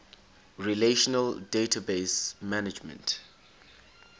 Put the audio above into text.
relational database management